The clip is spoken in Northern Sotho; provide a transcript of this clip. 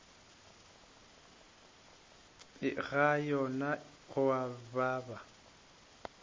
ga yona go a baba